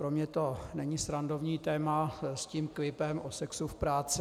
Pro mě to není srandovní téma s tím klipem o sexu v práci.